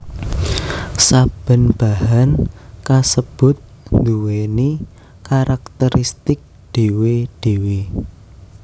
Saben bahan kasebut nduwèni karakteristik dhéwé dhéwé